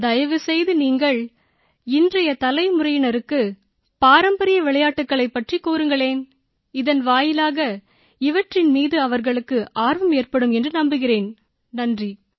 தயவுசெய்து நீங்கள் இன்றைய தலைமுறையினருக்கு பாரம்பரிய விளையாட்டுகளைப் பற்றிக் கூறுங்களேன் இதன் வாயிலாக இவற்றின் மீது அவர்களுக்கு ஆர்வம் ஏற்படும் என்று நம்புகிறேன் நன்றி